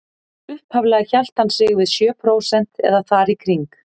Upphaflega hélt hann sig við sjö prósent eða þar í kring.